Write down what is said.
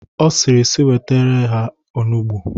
Ọ sịrị si wetere ha onugbo.